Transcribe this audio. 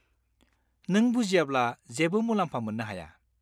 नों बुजियाब्ला जेबो मुलाम्फा मोन्नो हाया।